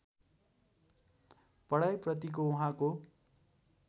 पढाइ प्रतिको उहाँको